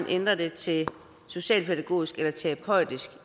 ændrer det til socialpædagogisk eller terapeutisk